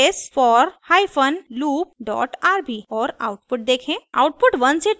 ruby space for hyphen loop dot rb और output देखें